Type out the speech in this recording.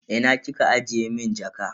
Ina kika ajiye mun jaka?